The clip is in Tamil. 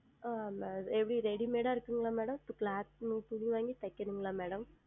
ஆஹ் Madam எப்படி Readymade இருக்குமா Madam இப்பொழுது Cloth துணி வாங்கி தைக்க வேண்டுமா Madam